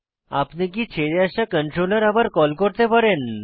আপনি কি ছেড়ে আসা কন্ট্রোলার আবার কল করতে পারেন